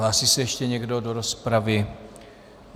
Hlásí se ještě někdo do rozpravy?